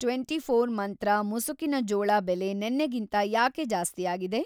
Twenty four ಮಂತ್ರ ಮುಸುಕಿನ ಜೋಳ ಬೆಲೆ ನೆನ್ನೆಗಿಂತ ಯಾಕೆ‌ ಜಾಸ್ತಿಯಾಗಿದೆ?